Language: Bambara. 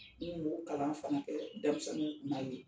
N kun b'o kalan fana kɛ denmisɛnninw kun'a ye